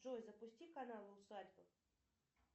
джой запусти канал усадьба